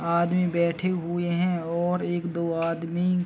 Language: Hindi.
आदमी बैठे हुए हैं और एक दो आदमी --